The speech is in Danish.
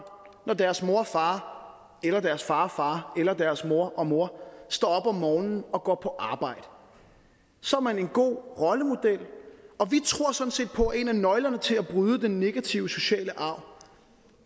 når deres mor og far eller deres far og far eller deres mor og mor står op om morgenen og går på arbejde så er man en god rollemodel vi tror sådan set på at en af nøglerne til at bryde den negative sociale arv